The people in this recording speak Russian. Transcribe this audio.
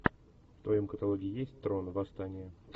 в твоем каталоге есть трон восстание